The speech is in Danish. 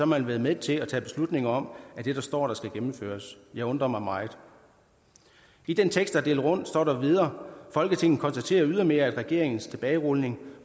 man været med til at tage beslutning om at det der står der skal gennemføres jeg undrer mig meget i den tekst der er delt rundt står der videre at folketinget konstaterer ydermere at regeringens tilbagerulning